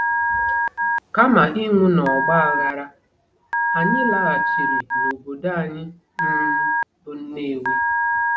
Kama ịnwụ n'ọgba aghara, anyị laghachiri n'obodo anyị um bụ́ Nnewi.